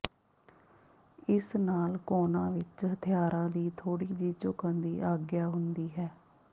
ਇਸ ਨਾਲ ਕੋਨਾਂ ਵਿਚ ਹਥਿਆਰਾਂ ਦੀ ਥੋੜ੍ਹੀ ਜਿਹੀ ਝੁਕਣ ਦੀ ਆਗਿਆ ਹੁੰਦੀ ਹੈ